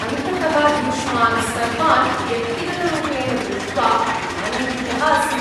अन्ततः युष्मान्‌ सर्वान् व्यक्तिगतरूपेण दृष्ट्वा आनन्दितः अस्मि।